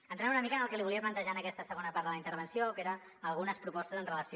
entrant una mica en el que li volia plantejar en aquesta segona part de la intervenció que eren algunes propostes amb relació